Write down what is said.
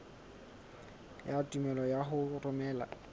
ya tumello ya ho romela